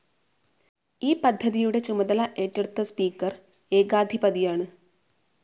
ഈ പദ്ധതിയുടെ ചുമതല ഏറ്റെടുത്ത സ്പീക്കർ ഏകാധിപതിയാണ്.